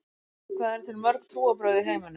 Hvað eru til mörg trúarbrögð í heiminum?